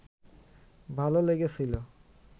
ভালো লেগেছিলো